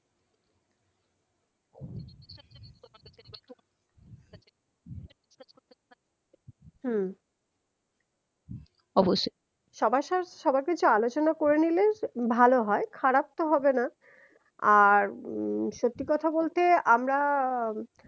হম অবশ্যই সবার সা সবায় কিছু আলোচনা করে নিলে ভালো হয় খারাপ তো হবেনা আর উম সত্যি কথা বলতে আমরা